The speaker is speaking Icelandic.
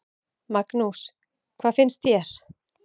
Magnús: Hvað finnst þér?